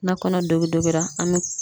Na kɔnɔ dogidogi an be